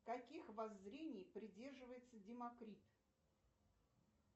каких воззрений придерживается демокрит